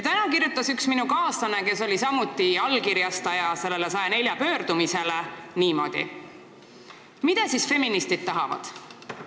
Täna kirjutas üks minu kaaslane, kes samuti sellele 104 inimese pöördumisele allkirja pani, niimoodi: "Mida siis feministid tahavad?